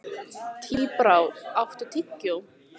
Tíbrá, áttu tyggjó?